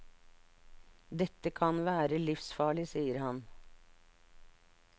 Dette kan være livsfarlig, sier han.